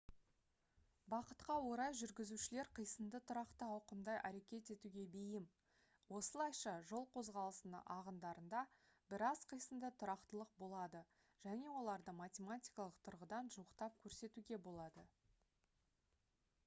бақытқа орай жүргізушілер қисынды тұрақты ауқымда әрекет етуге бейім осылайша жол қозғалысының ағындарында біраз қисынды тұрақтылық болады және оларды математикалық тұрғыдан жуықтап көрсетуге болады